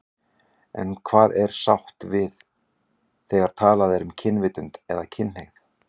En hvað er átt við þegar talað er um kynvitund eða kynhneigð?